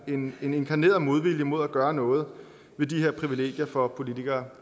en inkarneret modvilje mod at gøre noget ved de her privilegier for politikere